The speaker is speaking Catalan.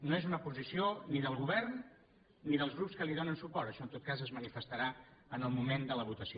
no és una posició ni del govern ni dels grups que li donen suport això en tot cas es manifestarà en el moment de la votació